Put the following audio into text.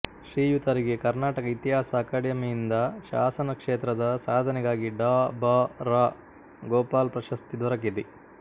ಶ್ರೀಯುತರಿಗೆ ಕರ್ನಾಟಕ ಇತಿಹಾಸ ಅಕ್ಯಾಡಮಿಯಿಂದ ಶಾಸನ ಕ್ಷೇತ್ರದ ಸಾಧನೆಗಾಗಿ ಡಾ ಬಾ ರಾ ಗೋಪಾಲ್ ಪ್ರಶಸ್ತಿ ದೊರಕಿದೆ